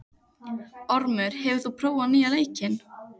Ormur, hefur þú prófað nýja leikinn?